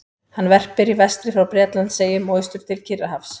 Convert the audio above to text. Hann verpir í vestri frá Bretlandseyjum og austur til Kyrrahafs.